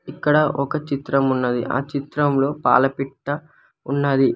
ఇక్కడ ఒక చిత్రం ఉన్నది ఆ చిత్రంలో పాలపిట్ట ఉన్నది.